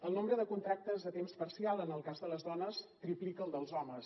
el nombre de contractes a temps parcial en el cas de les dones triplica el dels homes